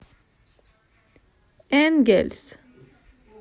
энгельс